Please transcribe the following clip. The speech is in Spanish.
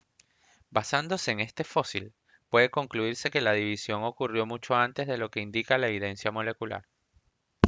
basándose en este fósil puede concluirse que la división ocurrió mucho antes de lo que indica la evidencia molecular